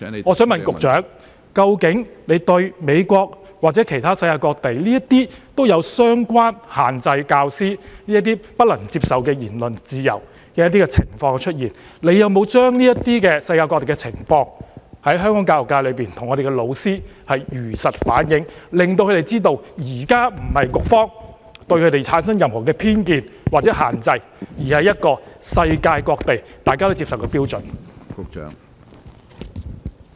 關於美國或世界各地限制教師不能享有言論自由的相關情況，請問局長有否向香港教育界的教師如實反映，令他們知道局方現時的做法並非對他們存有任何偏見或施加任何限制，而是世界各地均接受的標準做法？